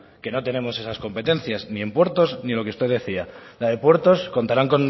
que no tenemos esas competencias ni en puertos ni en lo que usted decía la de puertos contarán